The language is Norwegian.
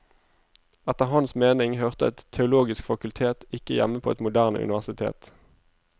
Etter hans mening hørte et teologisk fakultet ikke hjemme på et moderne universitet.